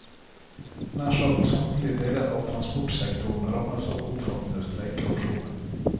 Nær sagt samtlige deler av transportsektoren rammes av omfattende streikeaksjoner.